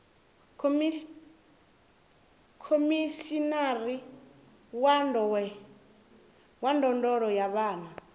khomishinari wa ndondolo ya vhana